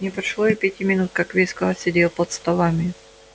не прошло и пяти минут как весь класс сидел под столами